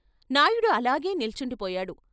నాయడు అలాగే నిల్చుండిపోయాడు.